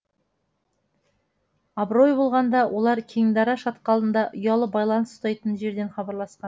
абырой болғанда олар кеңдара шатқалында ұялы байланыс ұстайтын жерден хабарласқан